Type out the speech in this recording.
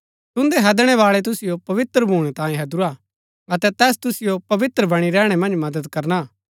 तुन्दै हैदणै बाळै तुसिओ पवित्र भूणै तांयै हैदुरा अतै तैस तुसिओ पवित्र बणी रैहणै मन्ज मदद करना